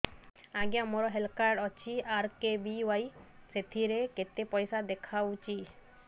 ଆଜ୍ଞା ମୋର health card ଅଛି ଆର୍.କେ.ବି.ୱାଇ ସେଥିରେ କେତେ ପଇସା ଦେଖଉଛି